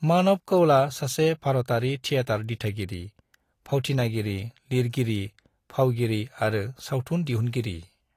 मानव कौलआ सासे भारतारि थिएटार दिथागिरि, भावथिनागिरि, लिरगिरि, फावगिरि आरो सावथुन दिहुनगिरि।